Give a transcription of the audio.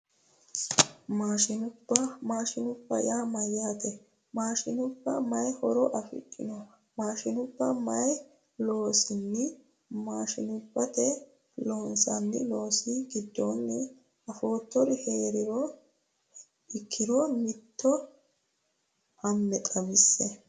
Maashinubba maashinubba yaa mayyaate maashinubba mayi horo afidhino maashinubba mayinni loonsanni maashinubbatee loonsanni loosi giddonni afoottori heeraaha ikkiro mitto ame xawisie